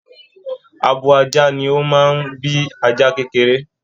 Àbò ajá ní o máa n bí ajá kekere.